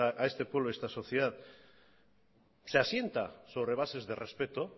a este pueblo y esta sociedad se asienta sobre bases de respeto